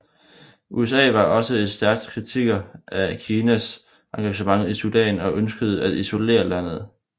USA var også et stærk kritiker af Kinas engagement i Sudan og ønskede at isolere landet